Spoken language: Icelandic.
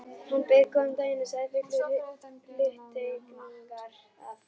Hann bauð góðan daginn og sagði fullur hluttekningar, að